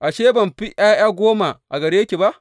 Ashe, ban fi ’ya’ya goma a gare ki ba?